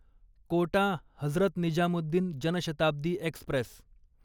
Kota Hazrat Nizamuddin Janshatabdi Express